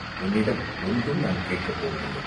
உன்னிடம் ஒன்றும் நான் கேட்கப் போவதில்லை.